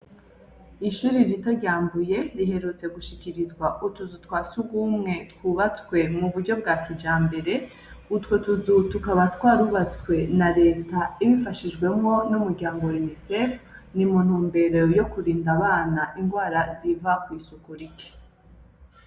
Ishure rito rya Mbuye, riherutse gushikirizwa utuzu twasugumwe twubatswe muburyo bwa kijambere, utwo tuzu tukaba twarubatswe n'a Reta ibifashijwemwo n'umuryango wa Inisefu nimuntumbero yokurinda abana indwara iva kwisuku rike.